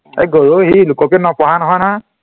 ঐ, গৰু সি লোকপ্ৰিয়ত ন পঢ়া নহয় নহয়